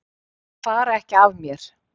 Þeir fara ekki af mér.